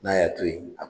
N'a y'a to yen